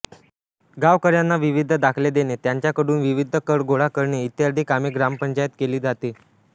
गावकर्यांना विविध दाखले देणे त्याच्याकडून विविध कर गोळा करणे ई कामे ग्रामपंचायत केली जातात